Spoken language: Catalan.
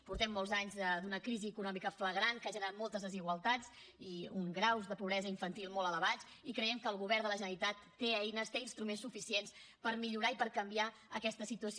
portem molts anys d’una crisi econòmica flagrant que ha generat moltes desigualtats i uns graus de pobresa infantil molt elevats i creiem que el govern de la generalitat té eines té instruments suficients per millorar i per canviar aquesta situació